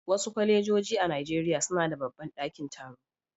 Wasu kwalejoji a Najeriya suna da babban dakin taro.